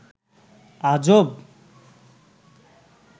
আজব